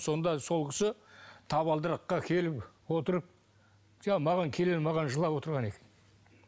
сонда сол кісі табалдырыққа келіп отырып маған жылап отырған екен